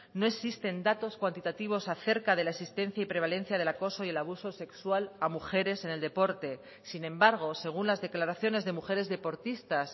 no existen datos cuantitativos acerca de la existencia y prevalencia del acoso y el abuso sexual a mujeres en el deporte sin embargo según las declaraciones de mujeres deportistas